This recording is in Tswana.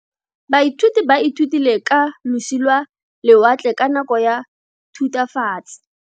Baithuti ba ithutile ka losi lwa lewatle ka nako ya Thutafatshe.